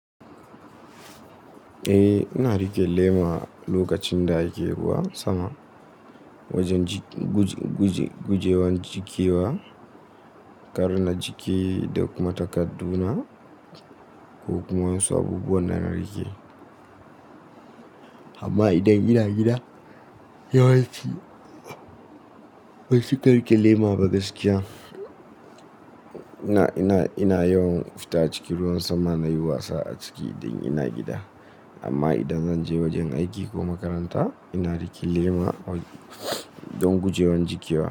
Eh, ina riƙe lema lokacin da ake ruwan sama wajen guje- guje- guje- gujewa jiƙewa. Kar na jiƙe da kuma takar du na ko kuma wasu abubuwan da na riƙe. Amma idan ina gida yawanci ban cika riƙe lema ba gaskiya. Ina, ina, ina yawan fita cikin ruwan sama na yi wasa a ciki idan ina gida. Amma idan zan je wajen aiki ko makaranta ina rike lema don gujewan jiƙewa.